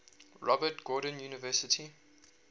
robert gordon university